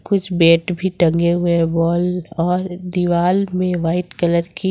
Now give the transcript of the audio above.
कुछ बैट भी टंगे हुएं है बाल और दिवाल में व्हाइट कलर की--